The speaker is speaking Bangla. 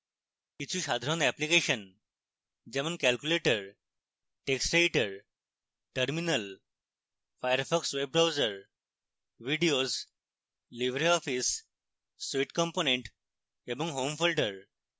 কিছু সাধারণ অ্যাপ্লিকেশন যেমন calculator text editor terminal firefox web browser videos এবং libreoffice suite components এবং home folder